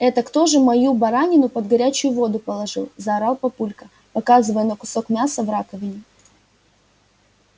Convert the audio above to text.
это кто же мою баранину под горячую воду положил заорал папулька показывая на кусок мяса в раковине